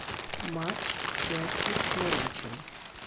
матч челси с норвичем